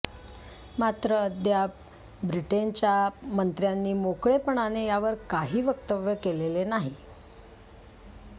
मात्र अद्याप ब्रिटेनच्या मंत्र्यांनी मोकळेपणाने यावर काही वक्तव्य केलंल नाही